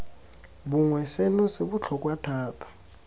bongwe seno se botlhokwa thata